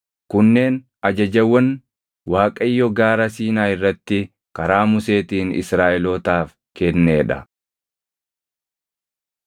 Kunneen ajajawwan Waaqayyo Gaara Siinaa irratti karaa Museetiin Israaʼelootaaf kennee dha.